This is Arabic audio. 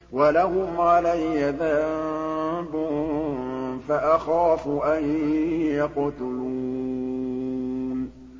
وَلَهُمْ عَلَيَّ ذَنبٌ فَأَخَافُ أَن يَقْتُلُونِ